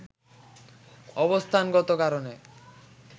অবস্থানগত কারণে